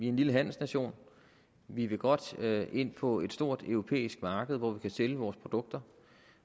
en lille handelsnation vi vil godt ind på et stort europæisk marked hvor vi kan sælge vores produkter